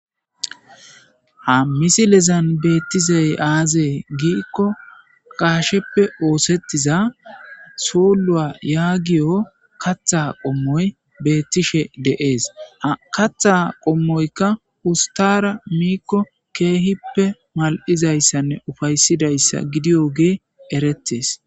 ha misilezan beettizey aazee giikko qaasheppe oosettiza soolua yaagiyo katha qommoy beettishe de7ees katha qommoyka ustara miikko keehippe mal7izayssanne ufaysidayssa gidiyo gee erettes